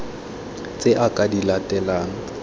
tse a ka di latelang